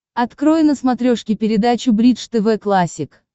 открой на смотрешке передачу бридж тв классик